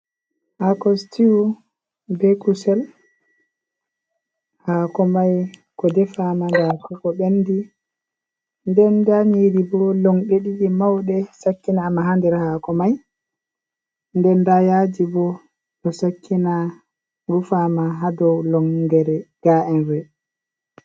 Haako sitiu bee kusel, haako mai ko defaama ndaa ko bendi nden nda nyiiri, bo longde ɗiɗi mauɗe sakkinaama haa nder haako mai nden ndaa yaaji boo ɗo sakkina rufaama haa dow lonngere.